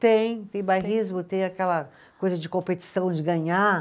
Tem, tem bairrismo, tem aquela coisa de competição, de ganhar.